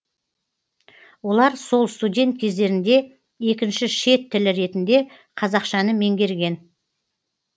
олар сол студент кездерінде екінші шет тілі ретінде қазақшаны меңгерген